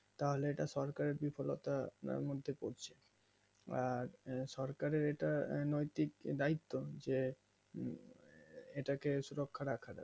তাহলে এটা সরকারের বিফলতার মধ্যে পড়ছে আঃ সরকারের এটা দায়িত্ব যে এটা কে সুরুক্ষা রাখা যাই